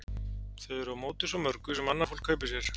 Þau eru á móti svo mörgu sem annað fólk kaupir sér.